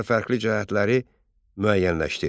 Oxşar və fərqli cəhətləri müəyyənləşdir.